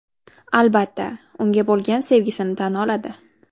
Albatta, unga bo‘lgan sevgisini tan oladi.